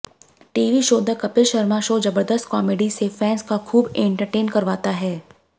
TV show the Kapil Sharma show जबरदस्त comedy से fans का खूब एंटरटेन करवाता है